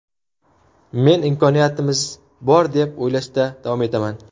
Men imkoniyatimiz bor deb o‘ylashda davom etaman.